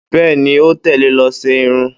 Bẹ́ẹ́ni, ó tẹ̀lé lọ ṣé irun.